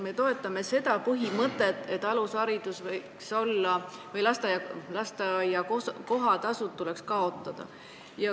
Me toetame põhimõtet, et alusharidus võiks olla tasuta ja lasteaia kohatasud tuleks kaotada.